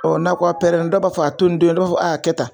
n'a ko a pɛrɛn na dɔw b'a fɔ, a to ni doni ,dɔw b'a fɔ a kɛ tan